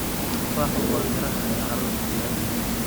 Tufaaxu waa midhaha ay carruurtu jecel yihiin.